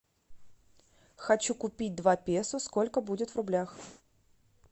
хочу купить два песо сколько будет в рублях